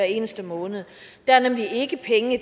eneste måned der er nemlig ikke penge